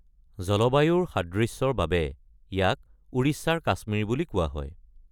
জলবায়ুৰ সাদৃশ্যৰ বাবে ইয়াক "উৰিষ্যাৰ কাশ্মীৰ" বুলি কোৱা হয়।